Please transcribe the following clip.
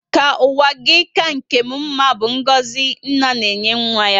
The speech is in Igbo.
Ka ụwa gị ka nkè m mmá bu ngọzi nna na enye nwa ya